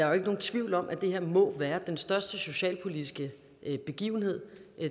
jo ikke nogen tvivl om at det her må være den største socialpolitiske begivenhed